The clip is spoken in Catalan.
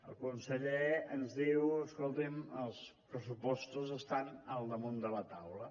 el conseller ens diu escoltin els pressupostos estan al damunt de la taula